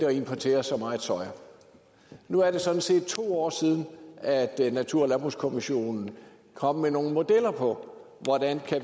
at importere så meget soya nu er det sådan set to år siden natur og landbrugskommissionen kom med nogle modeller for hvordan